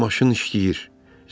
Deməli, maşın işləyir.